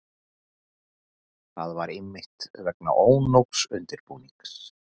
Það var einmitt vegna ónógs undirbúnings.